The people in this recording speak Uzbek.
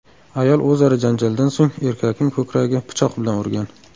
Ayol o‘zaro janjaldan so‘ng, erkakning ko‘kragiga pichoq bilan urgan.